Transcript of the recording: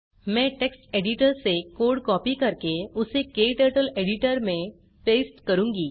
मैं text editor से code copy करके उसे क्टर्टल एडिटर में पेस्ट करूँगी